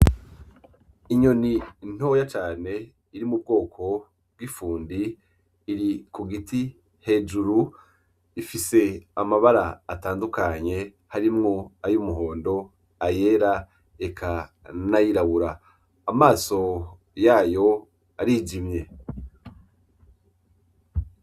Inyoni ntoya cane iri mu bwoko bw’ ifundi iri ku giti hejuru , ifise amabara atandukanye harimwo ay’umuhondo , ayera eka n’ayirabura. Amaso yayo arijimye.